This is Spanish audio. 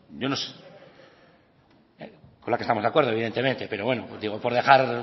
yo no sé con la que estamos de acuerdo evidentemente pero bueno digo por dejar